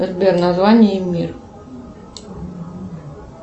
сбер название и мир